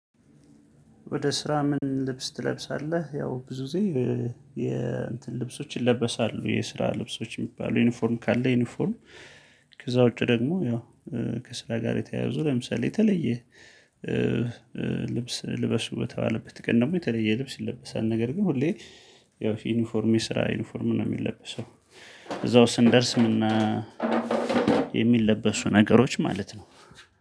ወደ ስራ ምን ልብስ ትለብሳለህ? ያው ብዙ ጊዜ የ እንትን ልብሶች ይለበሳሉ የስራ ልብሶች የሚባሉ ዩኒፎርም ካለ ዩኒፎርም ከዛ ውጪ ደግሞ ያው ከስራ ጋር የተያያዙ። ለምሳሌ የተለየ ልብስ ልበሱ በተባለበት ቀን ደግሞ የተለየ ልብስ ይለበሳል፤ ነገር ግን ሁሌ ያው ዩኒፎርም የስራ ዩኒፎርም ነው የሚለበሰው። እዛው ስንደርስ ምና ነገሮች ማለት ነው።